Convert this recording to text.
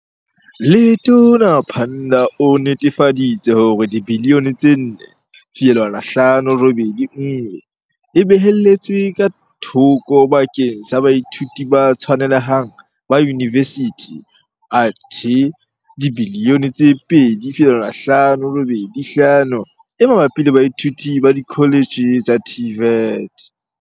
Letona Pandor o nnetefa ditse hore R4.581 biliyone e beheletswe ka thoko bakeng sa baithuti ba tshwanele hang ba yunivesithi athe R2.585 biliyone e mabapi le baithuti ba dikholetjhe tsa TVET.